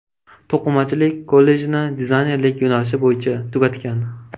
To‘qimachilik kollejini dizaynerlik yo‘nalishi bo‘yicha tugatgan.